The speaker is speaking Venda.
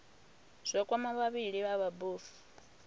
zwa kwama vhavhali vha mabofu